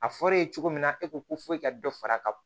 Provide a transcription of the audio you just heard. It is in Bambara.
A fɔr'e ye cogo min na e ko ko foyi ka dɔ fara ka